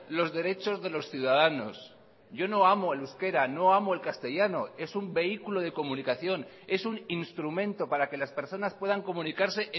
los derechos de los ciudadanos yo no amo el euskera no amo el castellano es un vehículo de comunicación es un instrumento para que las personas puedan comunicarse